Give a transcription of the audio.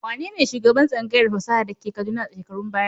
Wane ne shugaban tsangayar fasaha da ke Kaduna a shekarun baya?